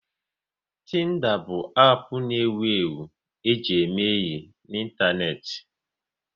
Tinda bụ app na ewu ewu e ji eme enyi n'Ịntaneti